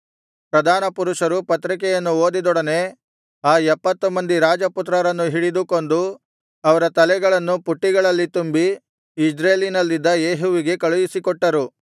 ಪ್ರಧಾನಪುರುಷರು ಪತ್ರಿಕೆಯನ್ನು ಓದಿದೊಡನೆ ಆ ಎಪ್ಪತ್ತು ಮಂದಿ ರಾಜಪುತ್ರರನ್ನು ಹಿಡಿದು ಕೊಂದು ಅವರ ತಲೆಗಳನ್ನು ಪುಟ್ಟಿಗಳಲ್ಲಿ ತುಂಬಿ ಇಜ್ರೇಲಿನಲ್ಲಿದ್ದ ಯೇಹುವಿಗೆ ಕಳುಹಿಸಿಕೊಟ್ಟರು